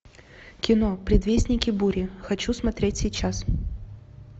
кино предвестники бури хочу смотреть сейчас